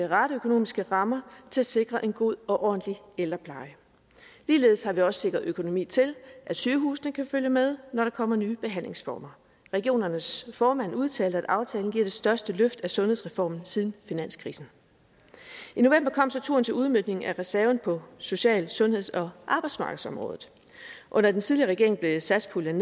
rette økonomiske rammer til at sikre en god og ordentlig ældrepleje ligeledes har vi også sikret økonomi til at sygehusene kan følge med når der kommer nye behandlingsformer regionernes formand udtalte at aftalen giver det største løft af sundhedsreformen siden finanskrisen i november kom så turen til udmøntning af reserven på social sundheds og arbejdsmarkedsområdet under den tidligere regering blev satspuljen